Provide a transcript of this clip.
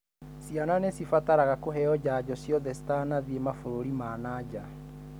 Ciana nĩ cibataraga kũheo janjo ciothe cĩtanathĩĩ mabũrũri ma nanja.